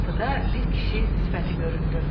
Qapıda bir kişi sifəti göründü.